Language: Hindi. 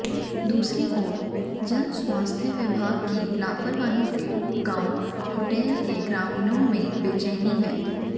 दूसरी ओर जनस्वास्थ्य विभाग की लापरवाही से गांव कुटेल के ग्रामीणों में बेचैनी है